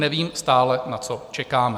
Nevím stále, na co čekáme.